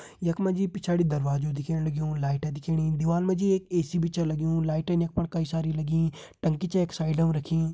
यख मा जी पिछाड़ी दरवाजु दिखेण लग्युं लाइट दिखेणी दीवाल मा जी एक ए.सी भी छ लग्युं लाइटन यख फण कई सारी लगीं टंकी छे यख साइडम रखीं।